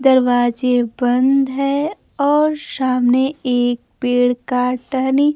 दरवाजे बंद है और सामने एक पेड़ का टहनी--